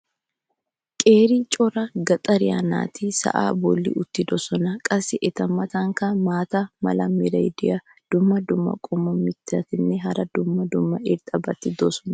qeeri cora gaxxariyaa naati sa"aa bolli uttidosona. qassi eta matankka maata mala meray diyo dumma dumma qommo mittatinne hara dumma dumma irxxabati de'oosona.